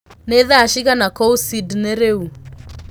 ni thaa cĩĩgana kũũ sydney riũ